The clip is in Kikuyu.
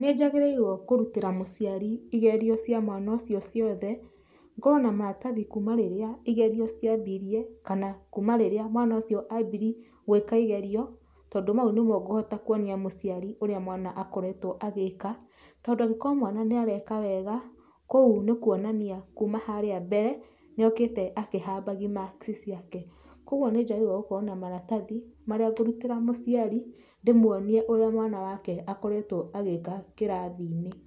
Nĩ njagĩrĩirwo kũrutĩra mũciari igerio cia mwana ũcio ciothe, ngorwo na maratathi kuuma rĩrĩa igerio ciambirie kana kuuma rĩrĩa mwana ũcio ambirie gwĩka igerio, tondũ mau nĩmo ngũhota kwonia mũciari ũrĩa mwana akoretwo agĩĩka, tondũ angĩkorwo mwana nĩ areka wega, kũu nĩ kũonania kuuma harĩa mbere, nĩ okĩte akĩhambagia marks ciake. Kwogwo nĩ njagĩrĩirwo gũkorwo na maratathi marĩa ngũrutĩra mũciari, ndĩmuonie ũrĩa mwana wake akoretwo agĩka kĩrathi-inĩ.